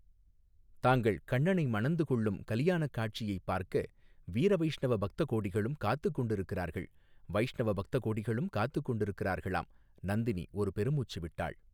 தாங்கள் கண்ணனை மணந்து கொள்ளும் கலியாணக் காட்சியைப் பார்க்க வீர வைஷ்ணவ பக்த கோடிகளும் காத்துக் கொண்டிருக்கிறார்கள் வைஷ்ணவ பக்த கோடிகளும் காத்துக் கொண்டிருக்கிறார்களாம் நந்தினி ஒரு பெருமூச்சு விட்டாள்.